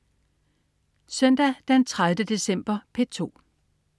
Søndag den 30. december - P2: